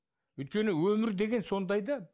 өйткені өмір деген сондай да